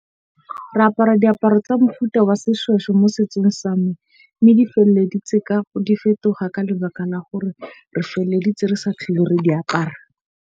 Re apara diaparo tsa mofuta wa seshweshwe mo setsong sa me. Mme di feleditse di fetoga ka lebaka la hore re feleleditse re sa tlhole re di apara.